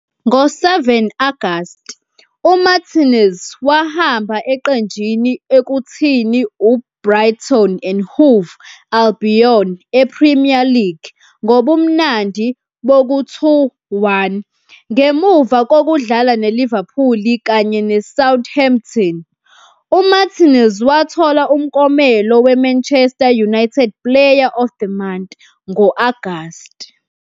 Ngo-7 Agasti, uMartínez wahamba eqenjini ekuthini uBrighton and Hove Albion e-Premier League ngobumnandi boku-2-1. Ngemuva kokudlala neLiverpool kanye neSouthampton, uMartínez wathola umklomelo we-Manchester United Player of the Month ngo-Agasti.